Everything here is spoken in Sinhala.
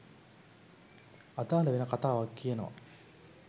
අදාළ වෙන කතාවක් කියනවා